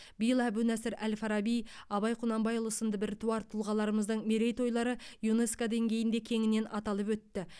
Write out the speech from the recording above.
биыл әбу насыр әл фараби абай құнанбайұлы сынды біртуар тұлғаларымыздың мерейтойлары юнеско деңгейінде кеңінен аталып өтті